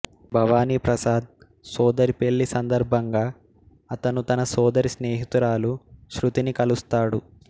భవానీ ప్రసాద్ సోదరి పెళ్ళి సందర్భంగా అతను తన సోదరి స్నేహితురాలు శ్రుతిని కలుస్తాడు